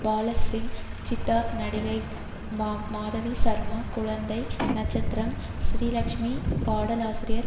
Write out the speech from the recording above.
பாலாசிங் சித்தார்த் நடிகை மாதவி சர்மா குழந்தை நட்சத்திரம் ஸ்ரீலட்சுமி பாடலாசிரியர்